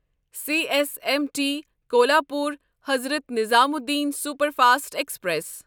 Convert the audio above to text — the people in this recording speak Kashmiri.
C S M T Kolhapur Hazrat Nizamuddin superfast express